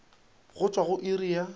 go tšwa go iri ya